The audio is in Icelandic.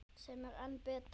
Sem er enn betra.